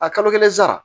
A kalo kelen sara